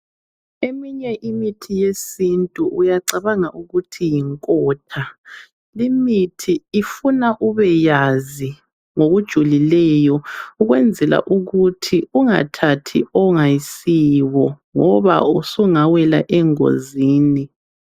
Eminye imithi yesintu uyacabanga ukuthi yinkotha. Limithi ifuna ubeyazi ngokujulileyo. Ukwenzela ukuthi ungathathi ongayisiwo, ngoba usungawela engozini.